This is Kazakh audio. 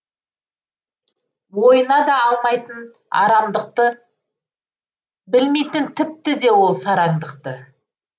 ойына да алмайтын арамдықты білмейтін тіпті де ол сараңдықты